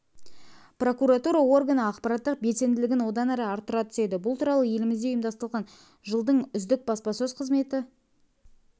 прокуратура органы ақпараттық белсенділігін одан әрі арттыра түседі бұл туралы елімізде ұйымдастырылған жылдың үздік баспасөз қызметі